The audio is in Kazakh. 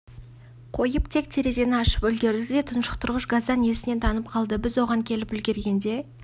жылдың қорытындысы бойынша қалай ең үздік командир болдыңыз соны айтып берсеңіз және қандай жарыс кезеңдері болды